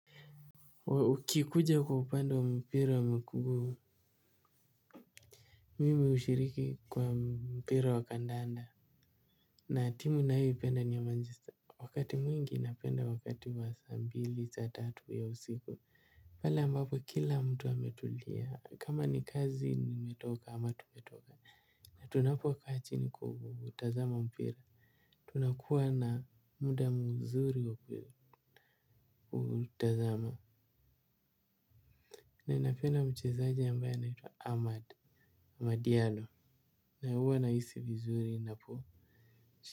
Ukikuja kwa upande wa mpira wa miguu. Mimi ushiriki kwa mpira wa kandanda. Na timu nayoipenda ni ya manchester. Wakati mwingi napenda wakati wa saa mbili saa tatu ya usiku. Pale ambapo kila mtu ametulia kama ni kazi nimetoka ama tumetoka. Tunapo kaa chini kutazama mpira. Tunakuwa na muda mzuri wa utazamo. Na ninapenda mchezaji ambaye anaitwa Ahmad Madiano na huwa nahisi vizuri inapo.